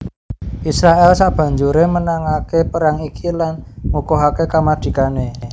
Israèl sabanjuré menangake perang iki lan ngukuhaké kamardikané